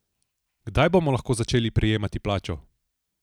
Kdaj bomo lahko začeli prejemati plačo?